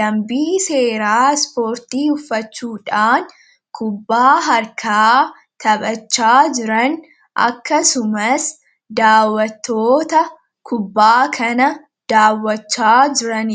dambii seera ispoortii uffachuudhaan kubbaa harkaa taphachaa jiran akkasumas daawwattoota kubbaa kana daawwachaa jiranidha